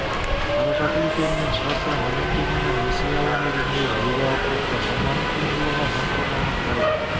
қаражаты есебінен шығарса миллион теңгені несие алу негізінде жүзеге асырыпты қойманың сыйымдылығы мың тоннаны құрайды